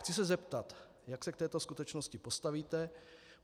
Chci se zeptat, jak se k této skutečnosti postavíte.